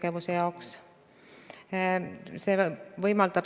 Riigil on võimalik seda protsessi erinevate poliitikameetmetega suunata ja leevendada.